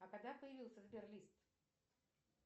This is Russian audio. а когда появился сбер лист